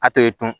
A tɛ dun